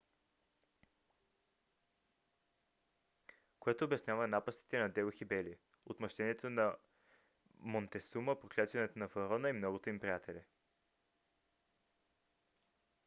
което обяснява напастите на делхи бели отмъщението на монтесума проклятието на фараона и многото им приятели